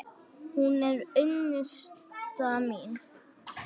Hún er unnusta mín!